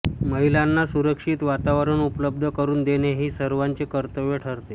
महिलांना सुरक्षित वातावरण उपलब्ध करून देणे हे सर्वांचे कर्तव्य ठरते